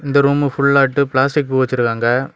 இந்த ரூமு ஃபுல்லாட்டு பிளாஸ்டிக் பூ வெச்சிருக்காங்க.